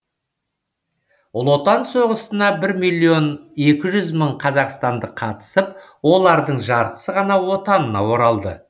ұлы отан соғысына бір миллион екі жүз мың қазақстандық қатысып олардың жартысы ғана отанына оралды